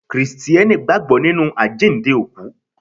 Krìsìtẹ́nì gbàgbọ́ nínú àjíǹde òkú.